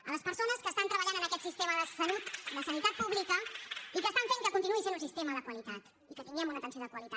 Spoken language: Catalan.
a les persones que treballen en aquest sistema de salut de sanitat pública i que fan que continuï sent un sistema de qualitat i que tinguem una atenció de qualitat